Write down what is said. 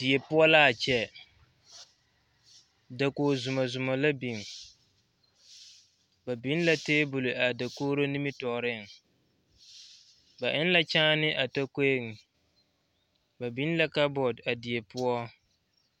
Die poɔ la a kyɛ dakoge zomɔzomɔ la biŋ ba biŋ la tabol a dakogro nimitɔɔriŋ ba eŋ la kyaane a tokoeŋ ba biŋ la labɔt a die poɔ.